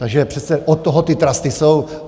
Takže přece od toho ty trusty jsou.